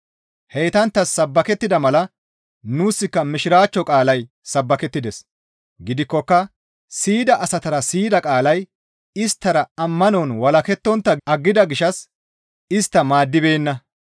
Heytanttas sabbakettida mala nuuska mishiraachcho qaalay sabbakettides; gidikkoka siyida asatara siyida qaalay isttara ammanon walakettontta aggida gishshas istta go7ibeenna.